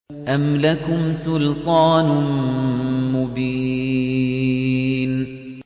أَمْ لَكُمْ سُلْطَانٌ مُّبِينٌ